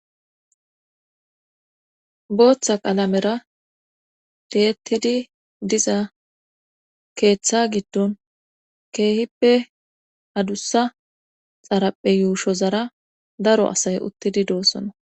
booththa qaalamera tiiyettidi diza keeththa giddon keehippe adussa xaraphe yuushozara daro asay uttidi doossona